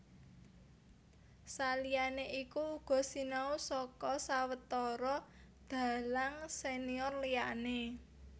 Saliyané iku uga sinau saka sawetara dhalang senior liyané